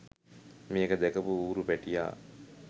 මේක දැකපු ඌරු පැටියා